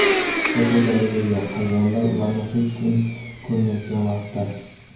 Fotogalereya: Hayvonlar ularni hech kim ko‘rmayotgan vaqtda.